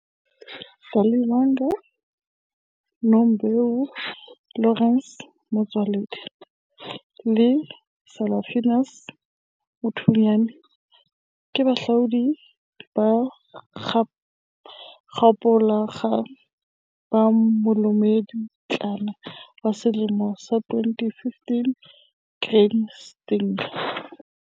Setshwantsho 3. Daliwonga Nombewu, Lawrence Mtsweni le Salphanius Motswenyane ke bahlodi ba makgaolakgang ba Molemipotlana wa Selemo sa 2015 Grain SA, Syngenta.